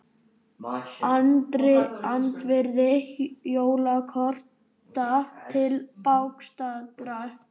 Andvirði jólakorta til bágstaddra